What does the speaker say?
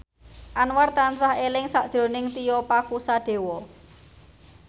Anwar tansah eling sakjroning Tio Pakusadewo